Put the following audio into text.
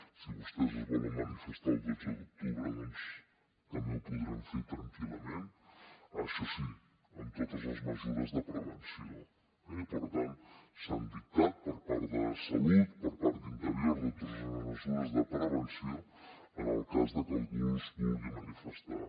si vostès es volen manifestar el dotze d’octubre doncs també ho podran fer tranquil·lament això sí amb totes les mesures de prevenció eh i per tant s’han dictat per part de salut per part d’interior totes les mesures de prevenció en el cas que algú es vulgui manifestar